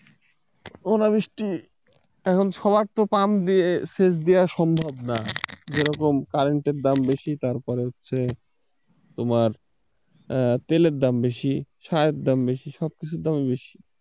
অনাবৃষ্টি, এখন সবার তো পাম দিয়ে সেচ দেয়া সম্ভব না যেরকম কারেন্টের দাম বেশি তারপরে হচ্ছে তোমার তেলের দাম বেশি সারের দাম বেশি সবকিছুর দাম বেশি,